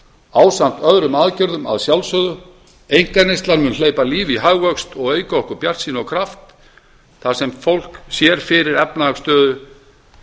ásamt öðrum aðgerðum að sjálfsögðu einkaneysla mun hleypa lífi í hagvöxt og auka okkur bjartsýni og kraft þar sem fólk sér fyrir efnahagsstöðu